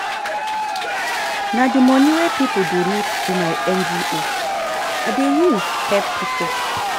Na di money wey pipo donate to my NGO I dey use help pipo.